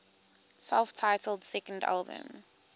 self titled second album